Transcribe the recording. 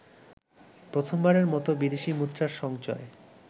প্রথমবারের মত বিদেশি মুদ্রার সঞ্চয়